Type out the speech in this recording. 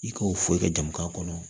I ka o fɔ i ka jamana kɔnɔ